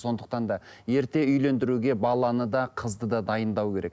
сондықтан да ерте үйлендіруге баланы да қызды да дайындау керек